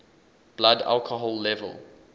blood alcohol level